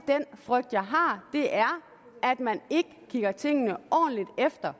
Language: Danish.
frygt jeg har er at man ikke kigger tingene ordentligt efter